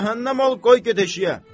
Cəhənnəm ol, qoy get eşiyə!